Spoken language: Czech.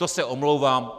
To se omlouvám.